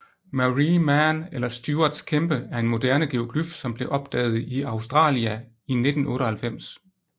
Marree Man eller Stuarts kæmpe er en moderne geoglyf som blev opdaget i Australia i 1998